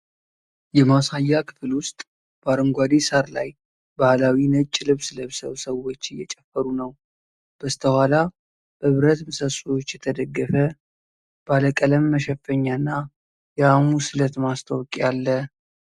የማሳያ ክፍል ውስጥ በአረንጓዴ ሣር ላይ ባህላዊ ነጭ ልብስ ለብሰዉ ሰዎች እየጨፈሩ ነው። በስተኋላ በብረት ምሰሶዎች የተደገፈ ባለ ቀለም መሸፈኛ እና የሐሙስ ዕለት ማስታወቂያ አለ።